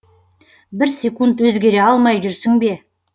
бір секунд өзгере алмай жүрсің бе